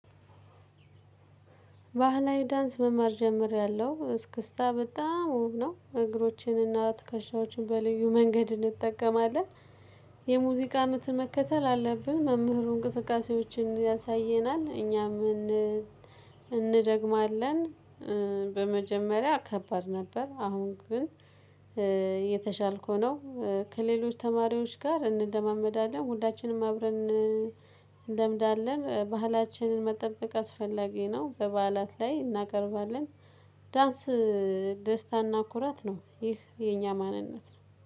ባህላዊ ዳንስ መማር ጀምሬያለሁ እስክስታ በጣም ውብ ነው እግሮቼንና ትከሻዎችን በልዩ መንገድ እንጠቀማለን። የሙዚቃ ምት መከተል አለብን መምህሩ እንቅስቃሴዎችን ያሳየናል እኛም እንደግማለን። በመጀመሪያ ከባድ ነበር አሁን ግን የተሻልኩ ነው። ከሌሎች ተማሪዎች ጋር እንለማመዳለን ሁላችንም አብረን እንለምዳለን። ባህላችንን መጠበቅ አስፈላጊ ነው። በበዓላት ላይ እናቀርባለን። ዳንስ ደስታና ኩራት ነው። ይህ የኛ ማንነት ነው